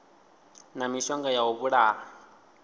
na mishonga ya u vhulaha